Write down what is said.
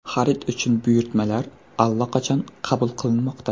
Xarid uchun buyurtmalar allaqachon qabul qilinmoqda.